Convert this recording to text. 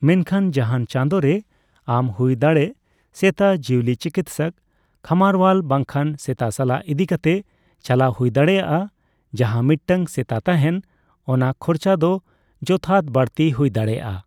ᱢᱮᱱᱠᱷᱟᱱ, ᱡᱟᱦᱟᱱ ᱪᱟᱸᱫᱚ ᱨᱮ ᱟᱢ ᱦᱩᱭ ᱫᱟᱲᱮᱜ ᱥᱮᱛᱟ ᱡᱤᱣᱟᱹᱞᱤ ᱪᱤᱠᱤᱛᱥᱚᱠ, ᱠᱷᱟᱢᱟᱨᱳᱣᱟᱞ ᱵᱟᱝᱠᱷᱟ ᱥᱮᱛᱟᱥᱟᱞᱟ ᱤᱫᱤ ᱠᱟᱛᱮᱜ ᱪᱟᱞᱟᱣ ᱦᱩᱭ ᱫᱟᱲᱮᱭᱟᱜᱼᱟ, ᱡᱟᱦᱟ ᱢᱤᱫᱴᱟᱝ ᱥᱮᱛᱟ ᱛᱟᱦᱮᱱ ᱚᱱᱟ ᱠᱷᱚᱨᱪᱟ ᱫᱚ ᱡᱚᱛᱷᱟᱛ ᱵᱟᱲᱛᱤ ᱦᱩᱭ ᱫᱟᱲᱮᱭᱟᱜ ᱟ ᱾